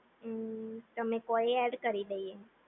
ઉમ્મ તમે કોઈ એડ કરી દઈએ